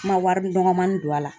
Ma wari dɔgɔmanin don a la.